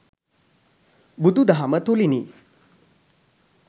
බුදුදහම තුළිනි.